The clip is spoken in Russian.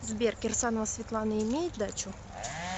сбер кирсанова светлана имеет дачу